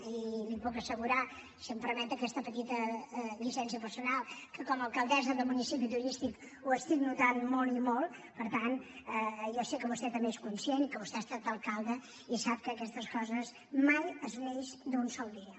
i li puc assegurar si em permet aquesta petita llicència personal que com a alcaldessa de municipi turístic ho estic notant molt i molt per tant jo sé que vostè també n’és conscient i vostè ha estat alcalde i sap que aquestes coses mai neixen d’un sol dia